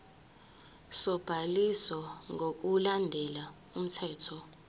sobhaliso ngokulandela umthetho